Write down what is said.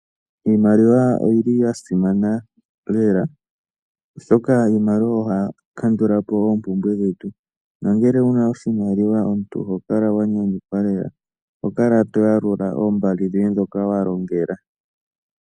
Iimaliwa oyi li ya simana lela, oshoka iimaliwa ohayi kandula po oompumbwe dhetu nongele wu na oshimaliwa omuntu oho kala wa nyanyukwa lela. Oho kala to yalula oombali dhoye ndhoka wa longela.